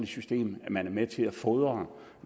system man er med til at fodre